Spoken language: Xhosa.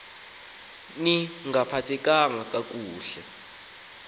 ni ngaphathekanga kakuhle